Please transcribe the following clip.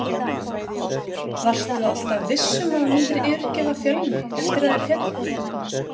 Varstu alltaf viss um að þú myndir yfirgefa Fjölni eftir að þeir féllu?